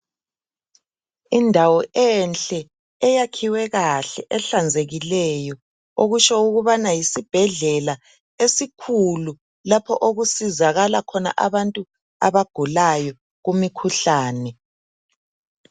Endawo enhle eyakhiwe kahle ehlanzekileyo, okutsho ukubana yisibhedlela esikhulu lapho okusizakala khona abantu abagulayo kumikhuhlane.